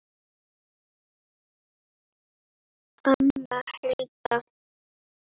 Anna Hulda.